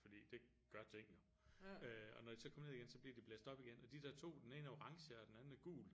Fordi det gør ting jo øh og når de så kommer ned igen så bliver de blæst op igen og de der to den ene er orange og den anden er gul